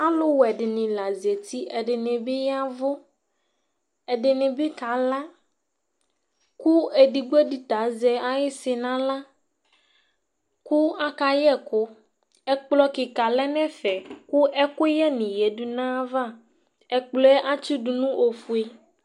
Aluwɛ dini la zati ku ɛdini bi yavu ɛdini bi kala ku edigbo di ta azɛ ayisi naɣla ku aka yɛ ɛku ɛkplɔ kika lɛ nu ɛfɛ ku ɛkuyɛ ni yadu nayava ɛkplɔɛ atsidu nu ofue